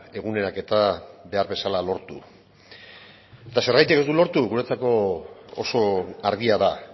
eguneraketa behar bezala lortu eta zergatik ez du lortu guretzako oso argia da